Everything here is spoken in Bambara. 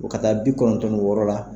ka taa bi kɔnɔntɔn ni wɔɔrɔ la.